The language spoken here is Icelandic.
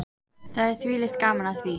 Það er þvílíkt gaman af því.